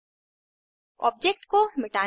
structure का वो भाग रेड कलर में बदल जाता है